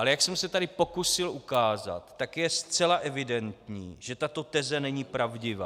Ale jak jsem se tady pokusil ukázat, tak je zcela evidentní, že tato teze není pravdivá.